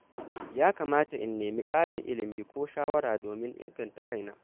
Yakamata in nemi ƙarin ilimi ko shawara domin inganta kaina.